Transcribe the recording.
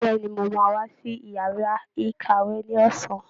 Bẹ̀ẹ́ni, mo máa wá sí yàrá ìkàwé ní ọ̀sán.